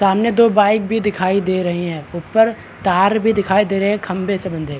सामने दो बाइक भी दिखाई दे रही है ऊपर तार भी दिखाई दे रहे है खंभे से बंधे --